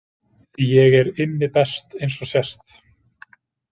Því ég er Immi best eins og sést.